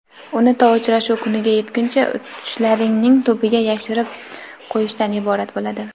uni to uchrashuv kuniga yetguncha tushlaringning tubiga yashirib qo‘yishdan iborat bo‘ladi.